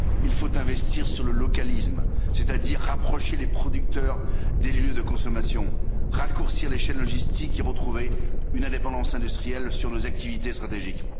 Il faut investir sur le localisme, c'est à dire rapprocher les producteurs des lieux de consommation, raccourcir les chaînes logistiques et retrouver une indépendance industrielle sur nos activités stratégiques.